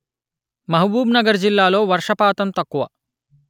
మహబూబ్ నగర్ జిల్లాలో వర్షపాతం తక్కువ